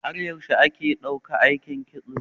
Har yaushe aka ɗauki aikin Kitso?